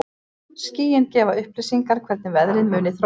Skýin gefa upplýsingar hvernig veðrið muni þróast.